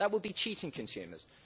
That would be cheating consumers.